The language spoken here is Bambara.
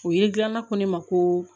O ye gilan ko ne ma ko